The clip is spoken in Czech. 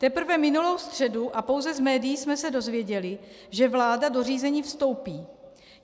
Teprve minulou středu a pouze z médií jsme se dozvěděli, že vláda do řízení vstoupí.